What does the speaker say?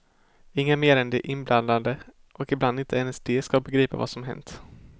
Inga mer än de inblandade, och ibland inte ens de, ska begripa vad som hänt.